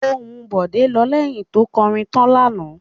Ohùn Bọ̀dé lọ lẹ́yìn tó kọrin tọ́ lánàá.